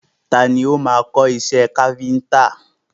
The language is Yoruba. Tani o máa kọ́ iṣẹ́ káfíńńtà?